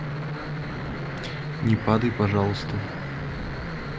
не падай пожалуйста